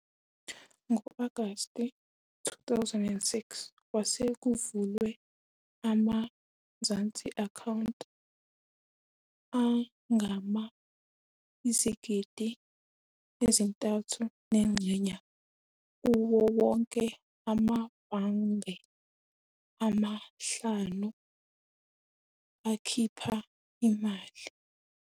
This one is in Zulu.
Ngo-Agasti 2006 kwase kuvulwe ama-Mzansi Accounts angama-3.3 million kuwo wonke amabhange ama-5 akhipha imali.